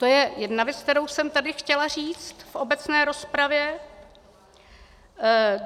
To je jedna věc, kterou jsem tady chtěla říct v obecné rozpravě.